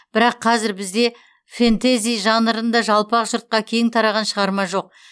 бірақ қазір бізде фэнтези жанрында жалпақ жұртқа кең тараған шығарма жоқ